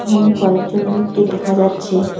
এখানে কয়েকজন লোককে দেখা যাচ্ছে।